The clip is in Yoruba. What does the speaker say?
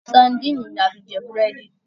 Sandíínì ni a fi jẹ búrẹ́dì